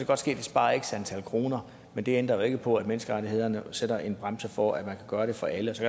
godt ske at det sparer x antal kroner men det ændrer jo ikke på at menneskerettighederne sætter en bremse for at man kan gøre det for alle og så